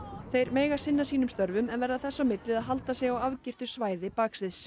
þeir mega sinna sínum störfum en verða þess á milli að halda sig á afgirtu svæði baksviðs